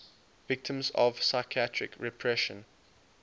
victims of psychiatric repression